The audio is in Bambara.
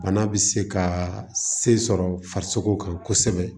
Bana bɛ se ka se sɔrɔ farisoko kan kosɛbɛ